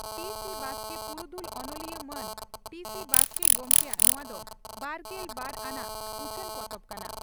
ᱴᱤᱹᱥᱤᱹ ᱵᱟᱥᱠᱮ ᱯᱩᱨᱩᱫᱷᱞ ᱚᱱᱚᱞᱤᱭᱟᱹ ᱢᱟᱱ ᱴᱤᱹᱥᱤᱹ ᱵᱟᱥᱠᱮ ᱜᱚᱢᱠᱮᱭᱟᱜ ᱱᱚᱣᱟ ᱫᱚ ᱵᱟᱨᱜᱮᱞ ᱵᱟᱨ ᱟᱱᱟᱜ ᱩᱪᱷᱟᱹᱱ ᱯᱚᱛᱚᱵ ᱠᱟᱱᱟ ᱾